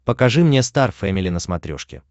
покажи мне стар фэмили на смотрешке